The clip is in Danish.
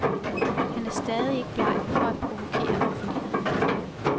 Han er stadig ikke bleg for at provokere offentligheden.